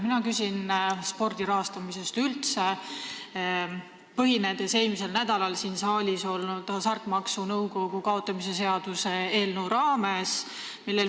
Mina küsin üldse spordi rahastamise kohta, põhinedes eelmisel nädalal siin saalis menetluses olnud Hasartmängumaksu Nõukogu kaotamise seaduse eelnõul.